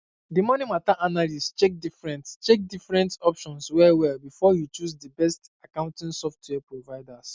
di money matter analyst check different check different options wellwell before e choose the best accounting software providers